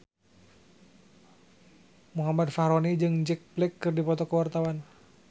Muhammad Fachroni jeung Jack Black keur dipoto ku wartawan